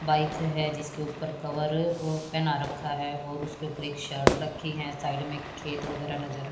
bike है जिसके ऊपर कवर और पेन आ रखा है और उसके ऊपर एक शर्ट रखीं है साइड में खेत वगैरा नजर --